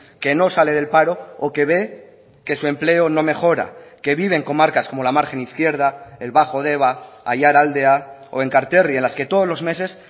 que no sale del paro o que ve que su empleo no mejora que vive en comarcas como la margen izquierda el bajo deba aiaraldea o enkarterri en las que todos los meses